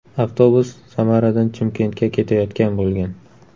Avtobus Samaradan Chimkentga ketayotgan bo‘lgan.